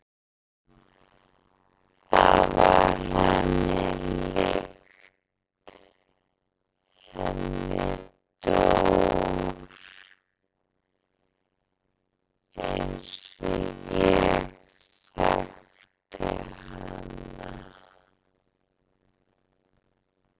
Það var henni líkt, henni Dór eins og ég þekkti hana.